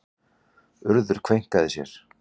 Urður kveinkaði sér.